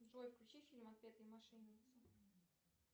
джой включи фильм отпетые мошенники